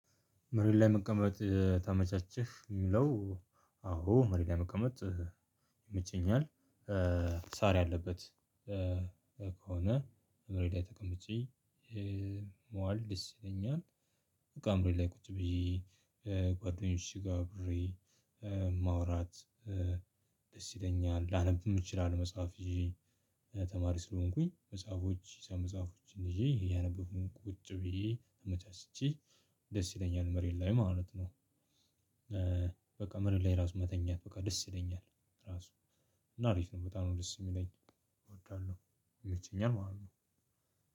መሬት ላይ መቀመጥ ተመቸህ የሚለው? አዎ መሬት ላይ መቀመጥ ይመቸኛል። ሳር ያለበት ከሆነ መሬት ተቀምጬ መዋል ደስ ይለኛል። መሬት ላይ ቁጭ ብዬ ጓደኞቼ ጋጋር አብሬ ማውራት ደስ ይለኛል። ላነብም እችላለሁ መጽሐፍ ይዤ ተማሪ ስለሆንኩኝ መጽሐፎች ሂሳብ መጽሐፎችን ይዤ እያነበብኩኝ ቁጭ ብዬ አመቻችቼ ደስ ይለኛል። መሬት ላይ ማለት ነው። በቃ መሬት ላይ ራሱ መተኛት በቃ ደስ ይለኛል። ራሱ እና አሪፍ ነው። በጣም ደስ የሚለኝ እወዳለሁ ይመቸኛል ማለት ነው።